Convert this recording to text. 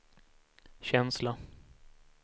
känsla